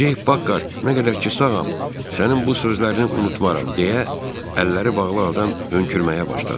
Ceyk Pakhart, nə qədər ki sağam, sənin bu sözlərini unutmaram deyə əlləri bağlı adam hönkürməyə başladı.